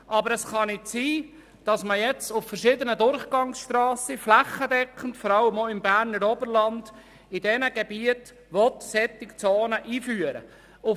Aber es kann nicht sein, dass man jetzt auf verschiedenen Durchgangsstrassen flächendeckend, vor allem auch im Berner Oberland, solche Zonen einführen will.